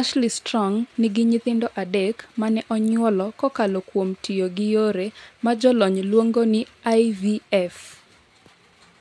Ashley Strong nigi nyithindo adek mane onyuolo kokalo kuom tiyo gi yore ma jolony luongo ni IVF.